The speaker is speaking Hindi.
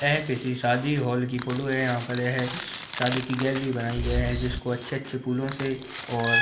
यह किसी शादी हॉल की फोटो है यहां पर है शादी की गैलरी बनाई गयी है जिसको अच्छे-अच्छे फूलों से और --